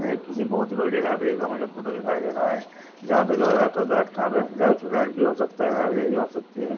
एक बहुत बड़ी लाइब्रेरी का फोटो मुझे दिखाई दे रहा है जहां पे लोग आकर भी हो सकता है--